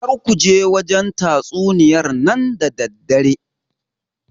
Kar kuje wajen tatsuniyar nan da daddare